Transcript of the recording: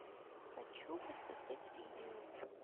хочу посмотреть винил